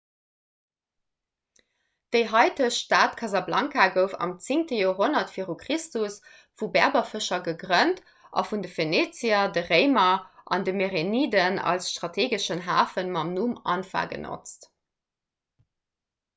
déi haitegt stad casablanca gouf am 10 joerhonnert v chr vu berberfëscher gegrënnt a vun de phënizier de réimer an de mereniden als strateegeschen hafe mam numm anfa genotzt